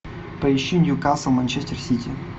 поищи ньюкасл манчестер сити